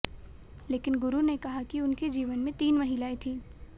लेकिन गुरु ने कहा कि उनके जीवन में तीन महिलाएं थीं